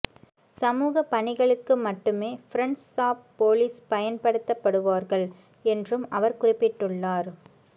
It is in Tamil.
சமூகப் பணிகளுக்கு மட்டுமே பிரண்ட்ஸ் ஆப் போலீஸ் பயன்படுத்தபடுவார்கள் என்றும் அவர் குறிப்பிட்டுள்ளார்